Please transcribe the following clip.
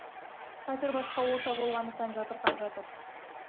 қазір басқа орта болғандықтан жатырқап жатыр